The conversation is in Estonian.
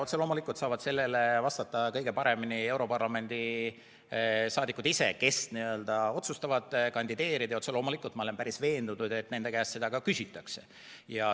Otse loomulikult saavad sellele vastata kõige paremini europarlamendi saadikud ise, kes otsustavad kandideerida, ja ma olen veendunud, et nende käest seda ka küsitakse.